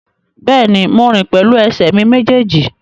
Bẹ́ẹ̀ni, mo rìn pẹ̀lú ẹsẹ̀ mi méjèèjì